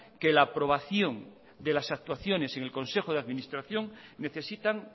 que la aprobación de las actuaciones en el consejo de administración necesitan